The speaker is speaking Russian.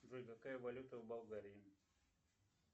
джой какая валюта в болгарии